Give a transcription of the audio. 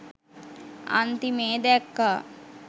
අන්තිමේ දැක්කා